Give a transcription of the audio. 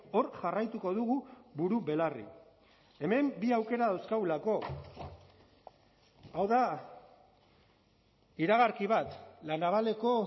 hor jarraituko dugu buru belarri hemen bi aukera dauzkagulako hau da iragarki bat la navaleko